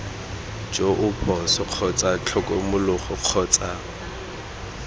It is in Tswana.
joo phoso kgotsa tlhokomologo kgotsa